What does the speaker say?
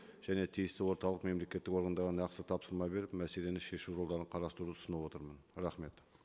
және тиісті орталық мемлекеттік органдарға нақты тапсырма беріп мәселені шешу жолдарын қарастыруды ұсынып отырмын рахмет